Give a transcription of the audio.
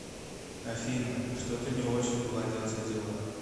афина что то не очень ладятся дела